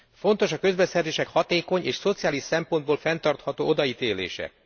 Fontos a közbeszerzések hatékony és szociális szempontból fenntartható odaítélése.